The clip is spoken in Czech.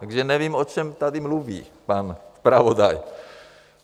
Takže nevím, o čem tady mluví pan zpravodaj.